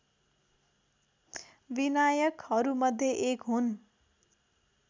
विनायकहरूमध्ये एक हुन्